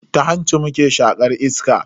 Ta hanci muke shaƙar iska.